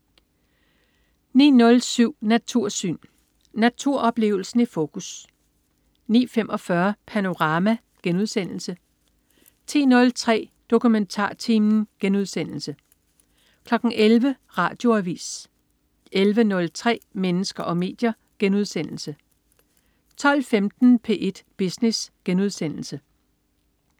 09.07 Natursyn. Naturoplevelsen i fokus 09.45 Panorama* 10.03 DokumentarTimen* 11.00 Radioavis 11.03 Mennesker og medier* 12.15 P1 Business*